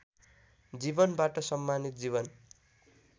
जीवनबाट सम्मानित जीवन